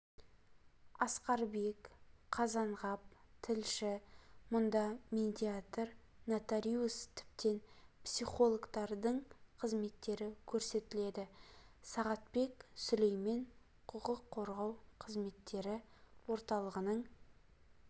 асқарбек қазанғап тілші мұнда медиатор нотариус тіптен психологтардың қызметтері көрсетіледі сағатбек сүлеймен құқық қорғау қызметтері орталығының